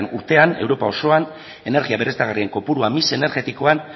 urtean europa osoan energia berriztagarrien kopurua mix energetikoan